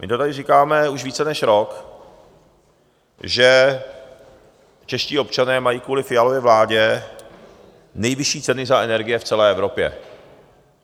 My to tady říkáme už více než rok, že čeští občané mají kvůli Fialově vládě nejvyšší ceny za energie v celé Evropě.